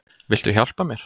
Viltu hjálpa mér?